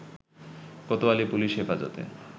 Kotwali police Hefazate